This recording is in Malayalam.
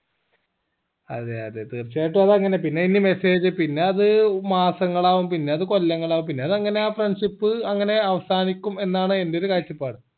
അതെ അതെ തീർച്ചയായിട്ടും അത് അങ്ങനെ പിന്നെ ഇനി message പിന്നെ അത് മാസങ്ങളാകും പിന്നെ അത് കൊല്ലങ്ങളാകും പിന്നെ അത് അങ്ങന friendship അങ്ങനെ അവസാനിക്കും എന്നാണ് എന്റെ ഒരു കാഴ്ചപ്പാട്